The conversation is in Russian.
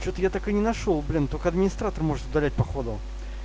что-то я так и не нашёл блин только администратор может удалять походу